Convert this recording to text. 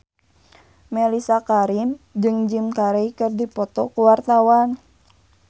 Mellisa Karim jeung Jim Carey keur dipoto ku wartawan